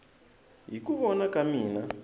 hi ku vona ka mina